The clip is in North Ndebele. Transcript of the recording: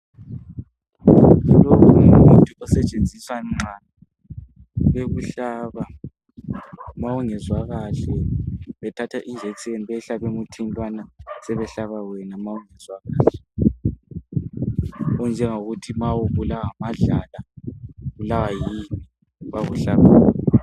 Lo ngumuthi osetshenziswa nxa bekuhlaba ma ungezwa kahle ,.bethatha iijekiseni beyihlabe emuthini lowana sebehlaba wena ma ungezwa kahle. Okunje ngokuthi ma ubulawa ngamadlala , ubulawaya yini bayakuhlaba yona.